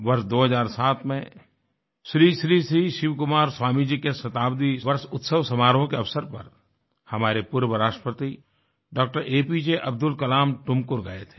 वर्ष 2007 में श्री श्री श्री शिवकुमार स्वामी जी के शताब्दी वर्ष उत्सव समारोह के अवसर पर हमारे पूर्व राष्ट्रपति डॉ० एपीजे अब्दुल कलाम टुमकुर गए थे